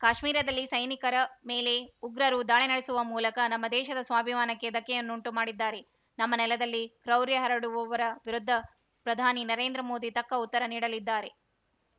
ಕಾಶ್ಮೀರದಲ್ಲಿ ಸೈನಿಕರ ಮೇಲೆ ಉಗ್ರರು ದಾಳಿ ನಡೆಸುವ ಮೂಲಕ ನಮ್ಮ ದೇಶದ ಸ್ವಾಭಿಮಾನಕ್ಕೆ ಧಕ್ಕೆಯನ್ನುಂಟು ಮಾಡಿದ್ದಾರೆ ನಮ್ಮ ನೆಲದಲ್ಲಿ ಕ್ರೌರ‍್ಯ ಹರಡುವವರ ವಿರುದ್ಧ ಪ್ರಧಾನಿ ನರೇಂದ್ರ ಮೋದಿ ತಕ್ಕ ಉತ್ತರ ನೀಡಲಿದ್ದಾರೆ